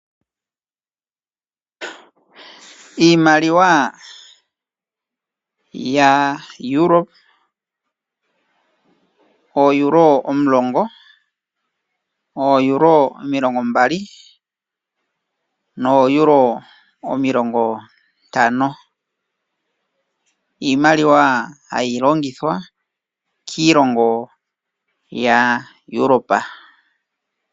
Iimaliwa ya Europa ooEuro omulongo, ooEuro omilongombali nooEuro omilongo ntan Iimaliwa hayi longithwa kiilongo ya Europa.